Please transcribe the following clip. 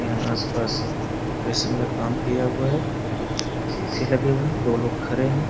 यहाँ अस पास डेकोरेशन का काम किया हुआ है शीशे लगे हुये है दो लोग खड़े है।